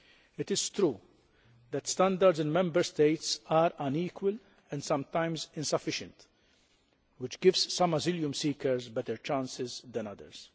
It is true that standards in Member States are unequal and sometimes insufficient, which gives some asylum seekers better chances than others.